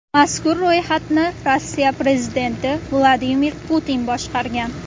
Mazkur ro‘yxatni Rossiya prezidenti Vladimir Putin boshqargan.